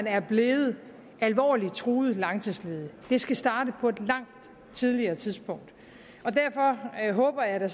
er blevet alvorligt truet langtidsledig det skal starte på et langt tidligere tidspunkt og derfor håber jeg da